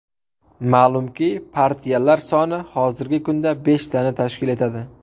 Ma’lumki, partiyalar soni hozirgi kunda beshtani tashkil etadi.